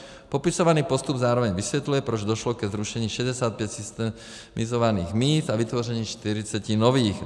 Popisovaný postup zároveň vysvětluje, proč došlo ke zrušení 65 systemizovaných míst a vytvoření 40 nových.